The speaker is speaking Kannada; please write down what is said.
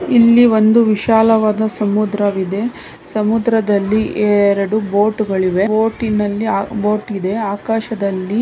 ಇಲ್ಲಿ ಒಂದು ವಿಶಾಲವಾದ ಸಮುದ್ರವಿದೆ ಸಮುದ್ರದಲ್ಲಿ ಎರೆಡು ಬೋಟುಗಳು ಇವೆ ಬೋಟಿನಲ್ಲಿ ಆ ಬೋಟು ಇದೆ. ಆಕಾಶದಲ್ಲಿ--